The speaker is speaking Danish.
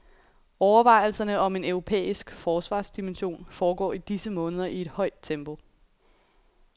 Overvejelserne om en europæisk forsvarsdimension foregår i disse måneder i et højt tempo.